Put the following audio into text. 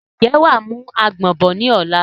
Ǹjẹ́ wàá mú àgbọ̀n bọ̀ ni ọ̀la?